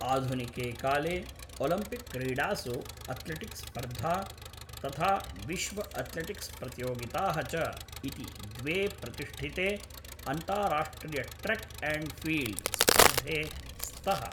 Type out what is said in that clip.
आधुनिके काले, ओलम्पिक्क्रीडासु अथ्लेटिक्स्स्पर्धा, तथा विश्व अथ्लेटिक्स् प्रतियोगिताः च इति एते द्वे प्रतिष्ठिते अन्तारार्ष्ट्रियट्रेक् एण्ड् फ़ील्ड् स्पर्धे स्तः।